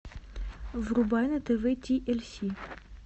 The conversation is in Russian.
врубай на тв ти эль си